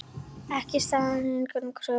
Ekki staðist eigin kröfur.